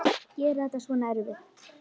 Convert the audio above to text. Við fljúgum klukkan níu.